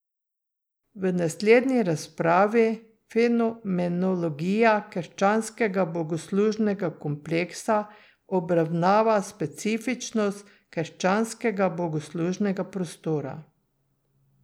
V naslednji razpravi, Fenomenologija krščanskega bogoslužnega kompleksa, obravnava specifičnost krščanskega bogoslužnega prostora.